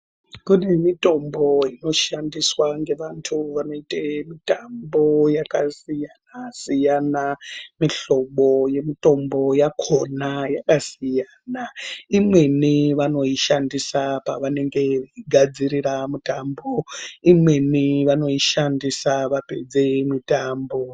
Kunemotombo inoshandiswa ngevantu vanoite mitambo yakasiyana siyana. Mihlobo yemitombo yakona yakasiyana siyana ,imweni vanoyishandisa pavanenge begadzirira mitambo, imweni vanoyishandisa vapedze mitambo.